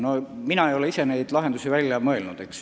No ma ei ole ise neid lahendusi välja mõelnud.